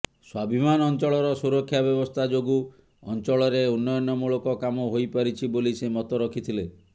ସ୍ବାଭିମାନ ଅଞ୍ଚଳର ସୁରକ୍ଷା ବ୍ୟବସ୍ତା ଯୋଗୁଁ ଅଞ୍ଚଳରେ ଉନ୍ନୟନ ମୂଳକ କାମ ହୋଇପାରିଛି ବୋଲି ସେ ମତ ରଖିଥିଲେ